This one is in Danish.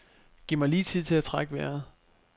Giv mig lige tid til at trække vejret.